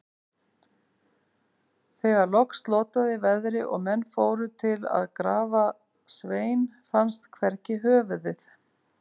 Þegar loks slotaði veðri og menn fóru til að grafa Svein, fannst hvergi höfuðið.